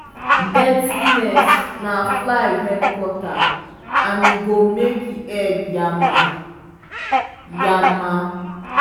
dirty nest na fly headquarter and e go make egg yama-yama.